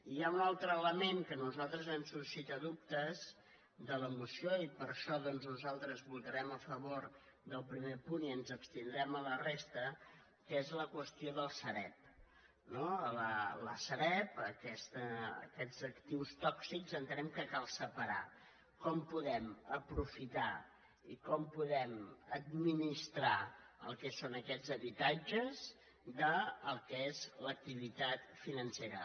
hi ha un altre element que a nosaltres ens suscita dubtes de la moció i per això doncs nosaltres votarem a favor del primer punt i ens abstindrem a la resta que és la qüestió de la sareb no la sareb aquests actius tòxics entenem que cal separar com podem aprofitar i com podem administrar el que són aquests habitatges del que és l’activitat financera